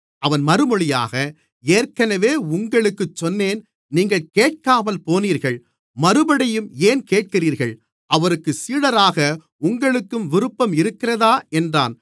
அவன் மறுமொழியாக ஏற்கனவே உங்களுக்குச் சொன்னேன் நீங்கள் கேட்காமல் போனீர்கள் மறுபடியும் ஏன் கேட்கிறீர்கள் அவருக்குச் சீடராக உங்களுக்கும் விருப்பம் இருக்கிறதா என்றான்